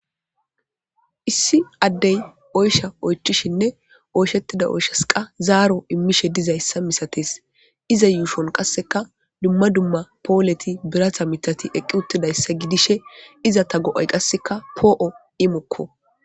Issi adey oyshsha oychishinne oyshetida oyshas qa zaro imishe dizaysa misates.izza yushon qaseka dumma dumma poleti birata miththati eqi utidaysa gidishe izeta go7ay qasika po7o imoko.